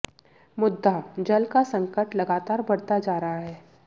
मुद्दाः जल का संकट लगातार बढ़ता जा रहा है